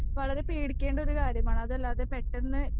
വളരെ പേടിക്കേണ്ട ഒരു കാര്യമാണ്. അതല്ലാതെ പെട്ടെന്ന്